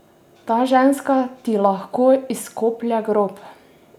Ta ženska ti lahko izkoplje grob!